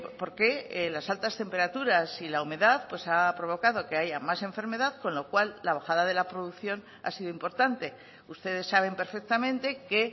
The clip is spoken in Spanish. porque las altas temperaturas y la humedad ha provocado que haya más enfermedad con lo cual la bajada de la producción ha sido importante ustedes saben perfectamente que